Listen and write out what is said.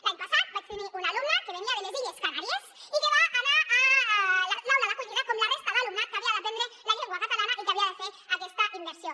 l’any passat vaig tenir una alumna que venia de les illes canàries i que va anar a l’aula d’acollida com la resta d’alumnat que havia d’aprendre la llengua catalana i que havia de fer aquesta immersió